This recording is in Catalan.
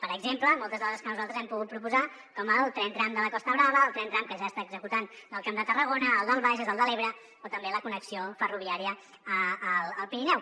per exemple moltes de les que nosaltres hem pogut proposar com el tren tram de la costa brava el tren tram que ja s’està executant del camp de tarragona el del bages el de l’ebre o també la connexió ferroviària amb el pirineu